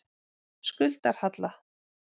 Skuldarhalla